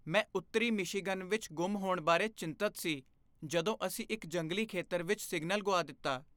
ਮੈਂ ਉੱਤਰੀ ਮਿਸ਼ੀਗਨ ਵਿੱਚ ਗੁੰਮ ਹੋਣ ਬਾਰੇ ਚਿੰਤਤ ਸੀ ਜਦੋਂ ਅਸੀਂ ਇੱਕ ਜੰਗਲੀ ਖੇਤਰ ਵਿੱਚ ਸਿਗਨਲ ਗੁਆ ਦਿੱਤਾ।